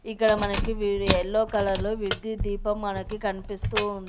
ఇక్కడ మనకి yellow colour లో విద్యుత్ దీపం మనకు కనిపిస్తూ--